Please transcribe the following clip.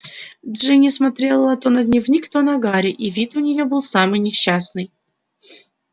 джинни смотрела то на дневник то на гарри и вид у неё был самый несчастный